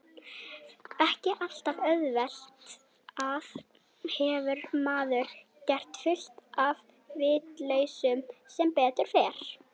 Ekki alltaf, auðvitað hefur maður gert fullt af vitleysum sem betur fer.